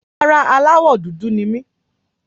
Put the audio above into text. Rárá, aláwọ̀ dúdú ni mí.